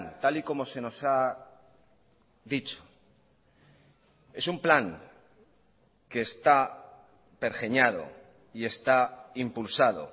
tal y como se nos ha dicho es un plan que está pergeñado y está impulsado